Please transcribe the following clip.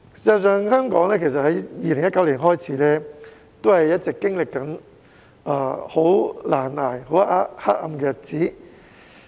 事實上，香港自2019年起一直經歷難捱、黑暗的日子。